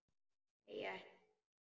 Nei, ég ætla að.